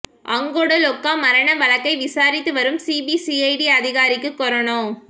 அங்கொட லொக்கா மரண வழக்கை விசாரித்து வரும் சிபிசிஐடி அதிகாரிக்கு கொரோனா